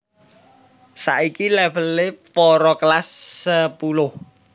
Saiki levèlé para Kelas sepuluh